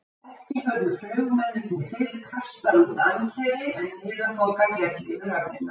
Ekki höfðu flugmennirnir fyrr kastað út ankeri, en niðaþoka féll yfir höfnina.